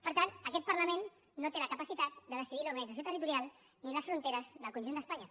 per tant aquest parlament no té la capacitat de decidir l’organització territorial ni les fronteres del conjunt d’espanya